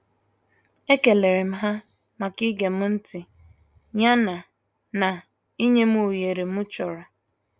E kelerem ha maka igem ntị ya na na inyem oghere m chọrọ.